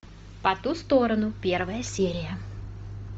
по ту сторону первая серия